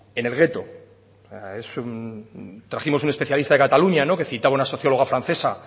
en el gueto es un trajimos un especialista de cataluña que citaba a una socióloga francesa